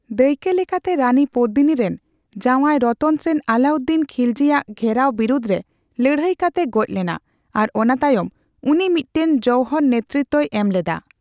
ᱫᱟᱭᱠᱟᱹᱞᱮᱠᱟᱛᱮ, ᱨᱟᱱᱤ ᱯᱚᱫᱢᱤᱱᱤᱨᱮᱱ ᱡᱟᱣᱟᱭ ᱨᱚᱛᱚᱱ ᱥᱮᱱ ᱟᱞᱟᱩᱫᱫᱤᱱ ᱠᱷᱤᱞᱡᱤ ᱟᱜ ᱜᱷᱮᱨᱟᱣ ᱵᱤᱨᱩᱫᱷ ᱨᱮ ᱞᱟᱹᱲᱦᱟᱹᱭ ᱠᱟᱛᱮ ᱜᱚᱡᱽ ᱞᱮᱱᱟ ᱟᱨ ᱚᱱᱟ ᱛᱟᱭᱚᱢ ᱩᱱᱤ ᱢᱤᱫᱴᱟᱝ ᱡᱚᱣᱦᱚᱨ ᱱᱮᱛᱨᱤᱛᱵ ᱮᱢ ᱞᱮᱫᱟ᱾